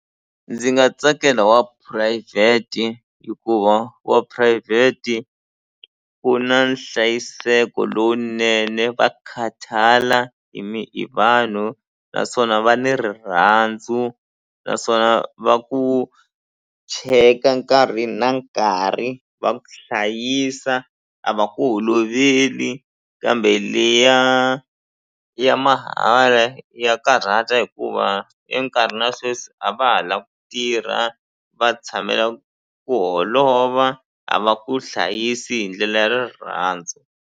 Ndzi nga tsakela wa phurayivheti hikuva wa phurayivheti ku na nhlayiseko lowunene va khathala hi hi vanhu naswona va ni rirhandzu naswona va ku cheka nkarhi na nkarhi va ku hlayisa a va ku holoveli kambe leya ya mahala ya karhata hikuva e nkarhini ya sweswi a va ha la ku tirha va tshamela ku holova a va ku hlayisi hi ndlela ya rirhandzu.